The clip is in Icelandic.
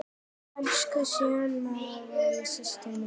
Elsku Sunneva systir mín.